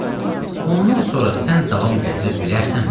Ayə, ondan sonra sən davam gətirə bilərsənmi?